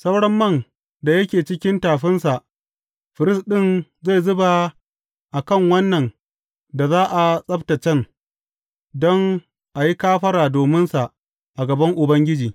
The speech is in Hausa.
Sauran man da yake cikin tafinsa firist ɗin zai zuba a kan wannan da za a tsabtaccen don a yi kafara dominsa a gaban Ubangiji.